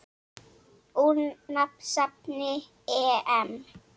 Úr safni EM.